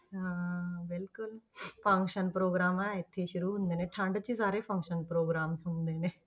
ਹਾਂ ਹਾਂ ਬਿਲਕੁਲ function program ਆਹ ਇੱਥੇ ਹੀ ਸ਼ੁਰੂ ਹੁੰਦੇ ਨੇ, ਠੰਢ 'ਚ ਹੀ ਸਾਰੇ function program ਹੁੰਦੇ ਨੇ।